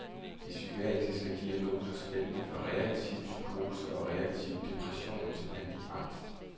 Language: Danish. De psykiatriske diagnoser spændte fra reaktiv psykose og reaktiv depression til panikangst.